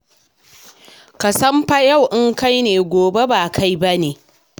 Ka san fa yau in kai ne, gobe ba kai ne ba.